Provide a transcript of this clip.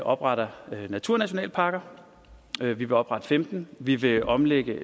opretter naturnationalparker vi vil oprette femtende vi vil omlægge